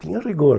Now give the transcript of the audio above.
Tinha rigor.